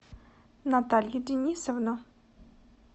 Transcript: наталью денисовну